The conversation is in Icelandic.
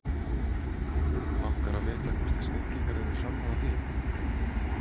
langar að vita hvort þið snillingar eru sammála því